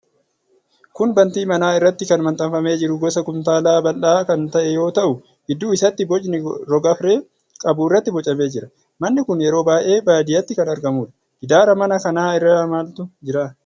Kun bantii manaa irratti kan maxxanfamee jiru gosa kumtaalaa bal'aa kan ta'e yoo ta'u, gidduu isaatti boci rogafree qabu irratti bocamee jira. Manni kun yeroo baay'ee baadiyyaatti kan argamuudha. Gidaara mana kanaa irra maaltu jira?